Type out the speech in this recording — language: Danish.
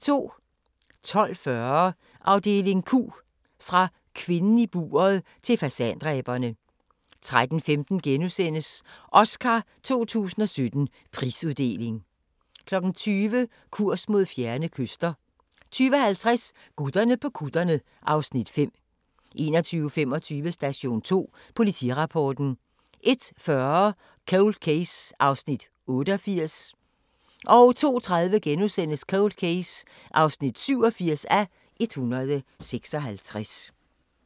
12:40: Afdeling Q – Fra Kvinden i buret til Fasandræberne 13:15: Oscar 2017: Prisuddeling * 20:00: Kurs mod fjerne kyster 20:50: Gutterne på kutterne (Afs. 5) 21:25: Station 2 Politirapporten 01:40: Cold Case (88:156) 02:30: Cold Case (87:156)*